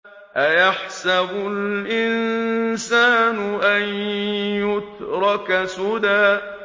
أَيَحْسَبُ الْإِنسَانُ أَن يُتْرَكَ سُدًى